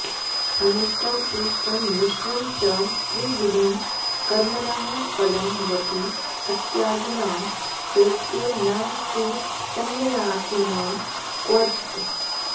अनिष्टम् इष्टं मिश्रं च त्रिविधं कर्मणः फलम् भवति अत्यागिनां प्रेत्य न तु सन्न्यासिनां क्वचित्